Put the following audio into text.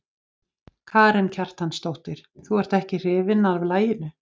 Karen Kjartansdóttir: Þú ert ekki hrifinn af laginu?